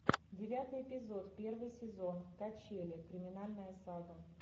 девятый эпизод первый сезон качели криминальная сага